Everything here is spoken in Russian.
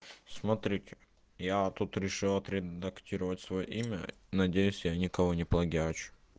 смотрите я тут решил отредактировать своё имя надеюсь я никого не плагиачу